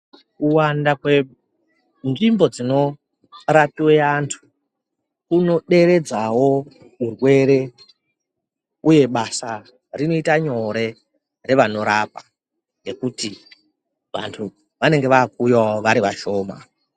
Kuwanda kwenzvimbo dzinorapiwe antu kunoderadzawo urwere uye basa rinoita nyore revanorapa ngekuti vanhu vanenge vakuuyawo vari vashoma.